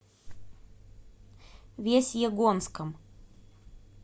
весьегонском